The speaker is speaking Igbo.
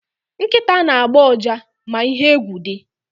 Nkịta na-agbọ ụja ma ihe egwu dị.